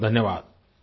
बहुतबहुत धन्यवाद